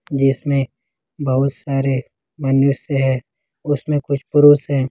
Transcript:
जिसमें बहुत सारे मनुष्य है उसमें कुछ पुरुस है।